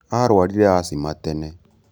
Arwarire acima tene